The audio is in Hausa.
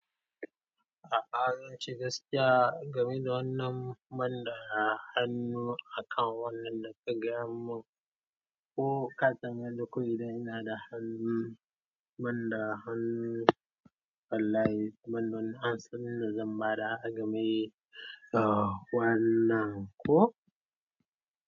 A'a zan ce gaskiya game da wannan ban da hannu akan wannan da kuka gaya mun. Ko ka tambaye ni ko mai zanyi ina da hannun, ban da hannu wallahi ban da wanu amsan ni da zan bada agame, eh wannan ko?